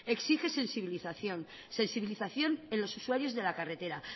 exige sensibilización sensibilización en los usuarios de la carretera